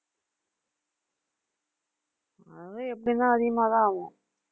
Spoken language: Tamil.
அது எப்படின்னா அதிகமாதான் ஆகும்